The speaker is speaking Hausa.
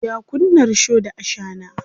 Ya kunna risho da ashana.